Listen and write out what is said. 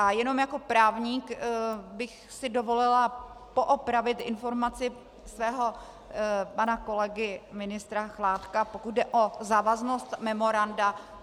A jenom jako právník bych si dovolila poopravit informaci svého pana kolegy ministra Chládka, pokud jde o závaznost memoranda.